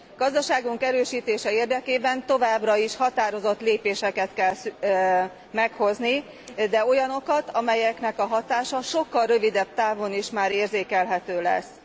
Gazdaságunk erősítése érdekében továbbra is határozott lépéseket kell meghozni, de olyanokat, amelyek hatása már sokkal rövidebb távon is érzékelhető lesz.